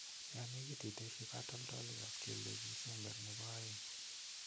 Yon negit itesyi katoltolikab kelyek isember nebo oeng'.